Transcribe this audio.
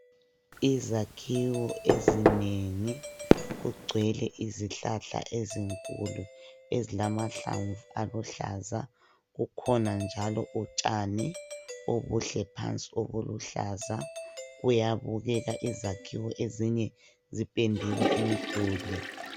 Izakhiwo ezinengi kugcwele izihlahla ezinkulu ezilamahlamvu aluhlaza. Kukhona njalo utshani obuhle phansi obuluhlaza. Kuyabukeka ,izakhiwo ezinye ziphendiwe imiduli.